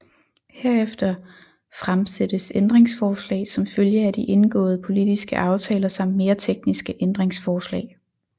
Herefter fremsættes ændringsforslag som følge af de indgåede politiske aftaler samt mere tekniske ændringsforslag